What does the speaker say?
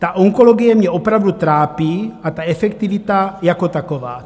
Ta onkologie mě opravdu trápí a ta efektivita jako taková."